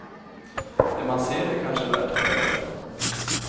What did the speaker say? Det man ser är kanske värt att berätta.